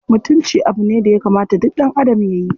Mutunci abu ne daya kamata duk ɗanadam yayi.